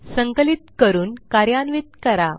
संकलित करून कार्यान्वित करा